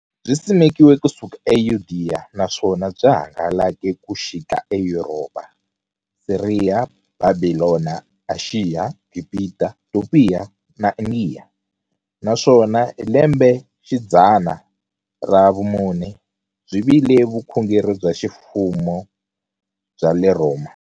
Byisimekiwe ku suka e Yudeya, naswona byi hangalake ku xika e Yuropa, Siriya, Bhabhilona, Ashiya, Gibhita, Topiya na Indiya, naswona hi lembexidzana ra vumune byi vile vukhongeri bya ximfumo bya le Rhoma.